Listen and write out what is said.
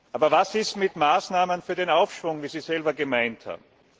Aber was ist mit Maßnahmen für den Aufschwung, wie Sie selber gemeint haben?